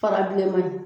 Fara bilenman in